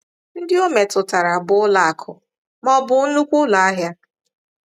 Ndị o metụtara bụ ụlọ akụ̀ ma ọ bụ nnukwu ụlọ ahịa.